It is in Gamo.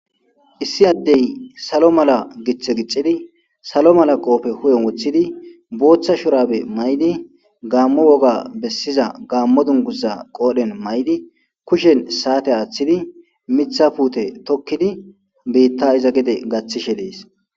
issi addey salo mala giththe gicxidi salo mala qoofe hu7en woththidi booththa shurabe may7di gaammo woga bessiza gaammo dunguza qoodhen may7di kushen saate aaththidi mitha puute tokkidi biitta iza gide gaththishe dees